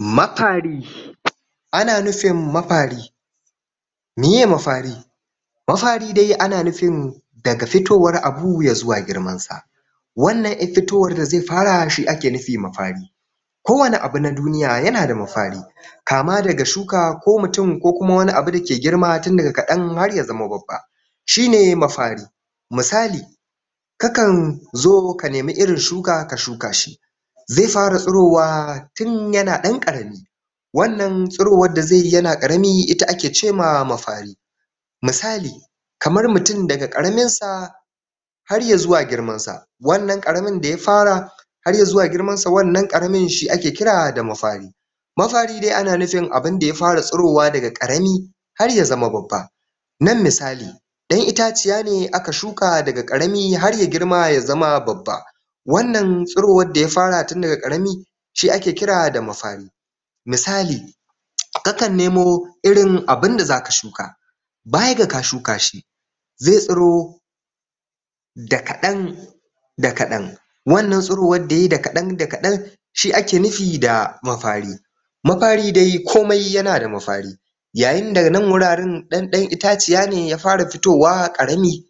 Mafari Ana nufin mafari Miye mafari? Mafari dai ana nufin daga fitowar abu ya zuwa girman sa. Wannan ƴar fitowar da zai fara shi ake nufi mafari. Kowane abu na duniya ya na da mafari kama daga shuka ko mutum ko kuma wani abu dake girma tun daga kaɗan har ya zama babba, shi ne mafari. Misali; kakan zo ka nemi irin shuka ka shuka shi zai fara tsirowa tun ya na ɗan ƙarami wannan tsirowar da zai yi ya na ɗan ƙarami ita ake ce ma mafari. Misali; kamar mutum daga ƙaramin sa har ya zuwa girman sa, wannan ƙaramin da ya fara har ya zuwa girman sa shi ake kira da mafari. Mafari dai ana nufin abunda ya fara tsirowa daga ƙarami har ya zama babba, Nan misali; ɗan itaciya ne aka shuka daga ƙarami har ya girma ya zama babba. Wannan tsirowar da ya fara tun daga ƙarami shi ake kira da mafari. Misali; kakan nemo irin abunda zaka shuka baya ga ka shuka shi, zai tsiro da kaɗan da kaɗan wannan tsirowar da yayi da kaɗan da kaɗan shi ake nufi da mafari. Mafari dai komai ya na da mafari yayin da nan wuraren ɗanɗan itaciya ne ya fara fitowa ƙarami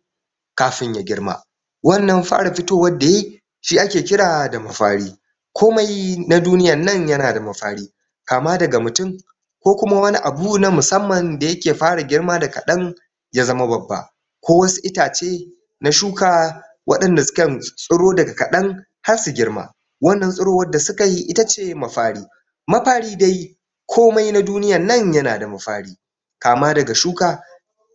kafin ya girma. Wannan fara fitowar da yayi shi ake kira da mafari. Komai na duniyar nan ya na da mafari. Kama daga mutum ko kuma wani abu na musamman da ya ke fara girma da kaɗan ya zama babba ko wasu itace na shuka waɗanda suka tsiro daga kaɗan har su girma. Wannan tsirowar da suke yi itace mafari. Mafari dai komai na duniyar nan ya na da mafari kama daga shuka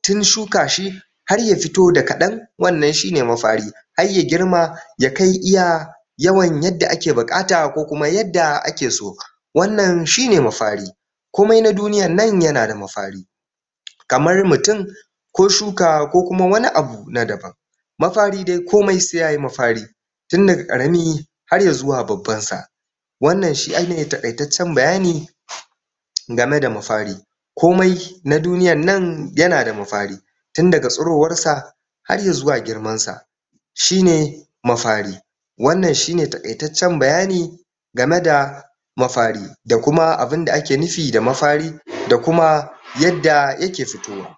tun shuka shi har ya fito da kaɗan wannan shine mafari har ya girma ya kai iya yawan yadda ake buƙata koma yadda ake so. Wannan shi ne mafari. Komai na duniyar nan ya na da mafari. Kamar mutum ko shuka ko kuma wani abu na daban mafari dai komai sai yayi mafari. Tun daga ƙarami har ya zuwa babban sa. Wannan shi ke ake nufi da taƙaitaccen bayani game da mafari Komai na duniyar nan ya na da mafari tun daga tsirowar sa har ya zuwa girman sa shi ne mafari. Wannan shi ne taƙaitaccen bayani game da mafari da kuma abinda ake nufi da mafari da kuma yadda ya ke fito.